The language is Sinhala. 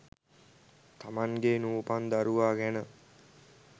තමන්ගේ නූපන් දරුවා ගැන